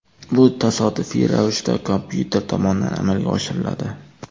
Bu tasodifiy ravishda kompyuter tomonidan amalga oshiriladi.